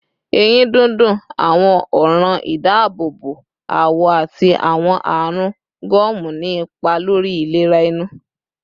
Eyin dundun, awọn ọran idaabobo awọ, ati awọn arun gomu ni ipa lori ilera ẹnu